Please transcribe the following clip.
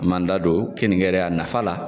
An m'an da don keninge yɛrɛ a nafa la.